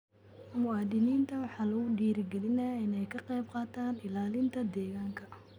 Muwaadiniinta waxaa lagu dhiirigelinayaa inay ka qaybqaataan ilaalinta deegaanka.